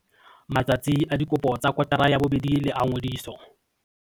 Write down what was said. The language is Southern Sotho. Matsatsi a dikopo tsa kotara ya bobedi le a ngodiso.